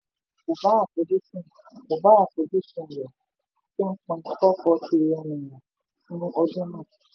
kò bá àfojúsùn kò bá àfojúsùn rẹ̀ ten point four four trillion naira fún ọdún náà.